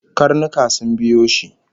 Karnuka sun biyo shi